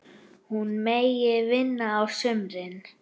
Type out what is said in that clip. Hún megi vinna á sumrin.